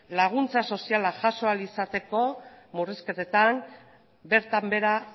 laguntza soziala jaso ahal izateko murrizketetan bertan behera